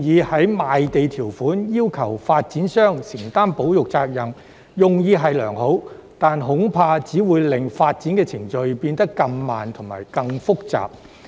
在賣地條款中要求發展商承擔保育責任的建議用意良好，但恐怕只會令發展程序變得更慢和更複雜。